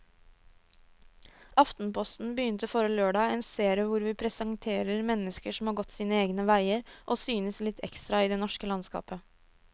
Aftenposten begynte forrige lørdag en serie hvor vi presenterer mennesker som har gått sine egne veier og synes litt ekstra i det norske landskapet.